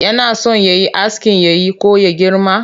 Yana so ya yi askin yayi ko ya girma?